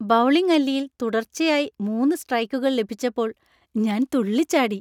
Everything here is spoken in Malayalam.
ബൗളിംഗ് അല്ലിയിൽ തുടർച്ചയായി മൂന്ന് സ്ട്രൈക്കുകൾ ലഭിച്ചപ്പോൾ ഞാൻ തുള്ളിച്ചാടി.